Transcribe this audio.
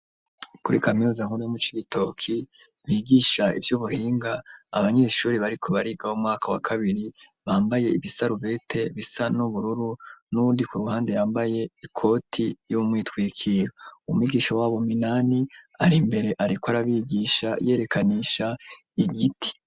Kuri kaminuza nkuru yo mu Cibitoke bigisha ivy'ubuhinga, abanyeshure bariko bariga bo mu mwaka wa kabiri, bambaye ibisarubete bisa n'ubururu n'uwundi k'uruhande yambaye ikoti y'umwitwikiro, umwigisha wabo minani ari imbere ariko arabigisha yerekanisha igiti.